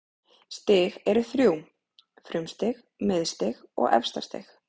Stig eru þrjú: frumstig, miðstig og efstastig.